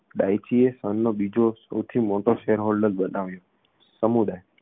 ડાઇચીએ સનનો બીજો સૌથી મોટો shareholder બનાવ્યો સમુદાય